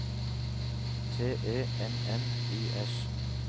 T E N N I S